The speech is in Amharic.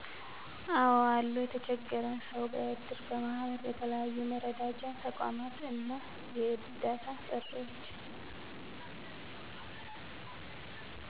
አዎ አሉ የተቸገረን ሰዉ በእድር፣ በማህበር በተለያዩ የመረዳጃ ተቋማት እና የእርዳታ ጥሪዎች